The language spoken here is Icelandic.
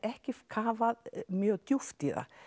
ekki kafað mjög djúpt í það